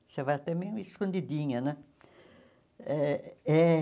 Você vai até meio escondidinha, né? Eh eh